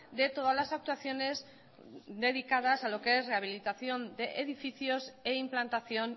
de todas las actuaciones dedicadas a lo que es rehabilitación de edificios e implantación